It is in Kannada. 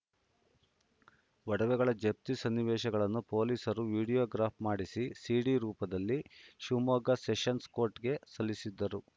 ಒಡವೆಗಳ ಜಪ್ತಿ ಸನ್ನಿವೇಶಗಳನ್ನು ಪೊಲೀಸರು ವಿಡಿಯೋಗ್ರಾಫ್‌ ಮಾಡಿಸಿ ಸಿಡಿ ರೂಪದಲ್ಲಿ ಶಿವಮೊಗ್ಗ ಸೆಷನ್ಸ್‌ ಕೋರ್ಟ್‌ಗೆ ಸಲ್ಲಿಸಿದ್ದರು